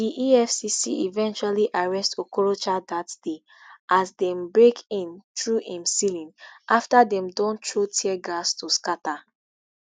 di efcc eventually arrest okorocha dat day as dembreak in through im ceilingafter dem don throw tear gas to scata